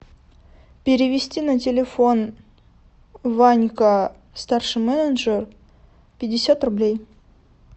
перевести на телефон ванька старший менеджер пятьдесят рублей